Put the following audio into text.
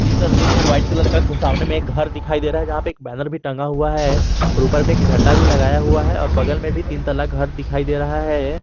ये तस्वीर में एक वाइट कलर का सामने में एक घर दिखाई दे रहा है यहां पे एक बैनर भी टंगा हुआ है और ऊपर में एक झंडा भी लगाया हुआ है और बगल में भी तीन तल्ला घर दिखाई दे रहा है।